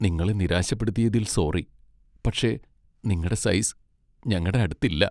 നിങ്ങളെ നിരാശപ്പെടുത്തിയതിൽ സോറി, പക്ഷേ നിങ്ങടെ സൈസ് ഞങ്ങടെ അടുത്ത് ഇല്ല.